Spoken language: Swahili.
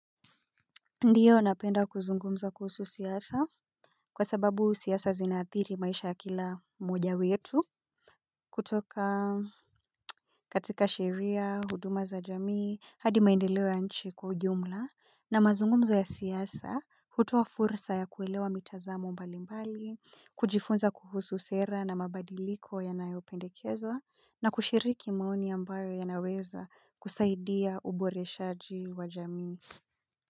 Ndiyo napenda kuzungumza kuhusu siyasa kwa sababu siyasa zinathiri maisha ya kila moja wetu kutoka katika sheria huduma za jamii hadi maendeleo nchi kwa ujumla na mazungumza ya siyasa hutuwa fursa ya kuelewa mitazamo mbali mbali kujifunza kuhusu sera na mabadiliko ya nayopendekezwa na kushiriki maoni ambayo ya naweza kusaidia uboreshaji wa jamii.